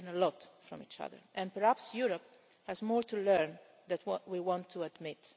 we can learn a lot from each other, and perhaps Europe has more to learn than we would want to admit.